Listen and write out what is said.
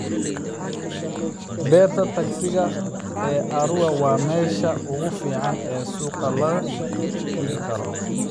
Beerta tagsiga ee Arua waa meesha ugu fiican ee suuqa la dhigo karo .